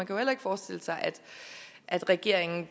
jo heller ikke forestille sig at regeringen